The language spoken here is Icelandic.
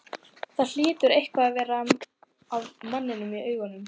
Það hlýtur eitthvað að vera að manninum í augunum.